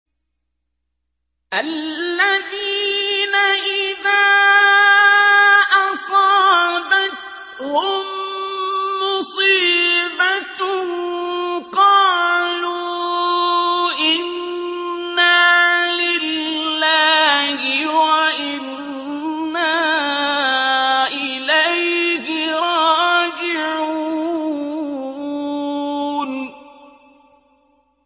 الَّذِينَ إِذَا أَصَابَتْهُم مُّصِيبَةٌ قَالُوا إِنَّا لِلَّهِ وَإِنَّا إِلَيْهِ رَاجِعُونَ